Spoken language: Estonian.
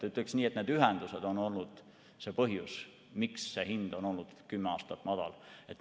Ütleks nii, et need ühendused on olnud see põhjus, miks see hind on olnud kümme aastat madal.